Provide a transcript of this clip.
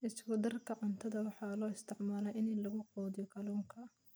Isku darka cuntada waxaa loo isticmaalaa in lagu quudiyo kalluunka.